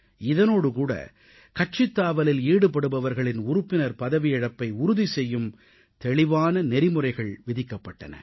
இதனோடுகூட கட்சித்தாவலில் ஈடுபடுபவர்களின் உறுப்பினர் பதவியிழப்பை உறுதி செய்யும் தெளிவான நெறிமுறைகள் விதிக்கப்பட்டன